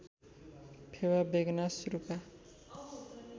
Phewa Begnas Rupa